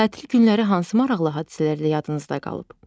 Tətil günləri hansı maraqlı hadisələrlə yadınızda qalıb?